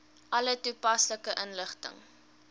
alle toepaslike inligting